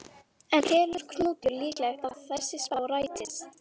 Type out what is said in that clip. En telur Knútur líklegt að þessi spá rætist?